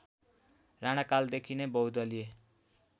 राणाकालदेखि नै बहुदलीय